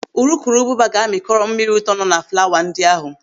Urukurubụbaba ga-amịkọrọ mmiri ụtọ nọ na flawa ndị ahụ.